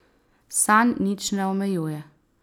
Sanj nič ne omejuje.